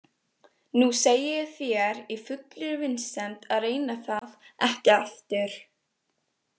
Nú segi ég þér í fullri vinsemd að reyna það ekki aftur.